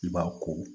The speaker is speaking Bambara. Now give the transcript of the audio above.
I b'a ko